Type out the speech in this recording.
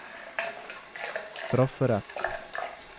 strafferett